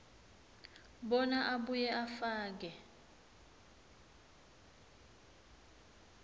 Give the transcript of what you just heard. bona abuye afake